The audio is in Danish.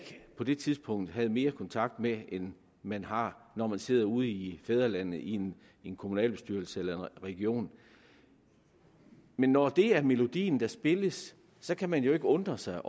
på det tidspunkt ikke havde mere kontakt med end man har når man sidder ude i fædrelandet i en kommunalbestyrelse eller region men når det er melodien der spilles så kan man jo ikke undre sig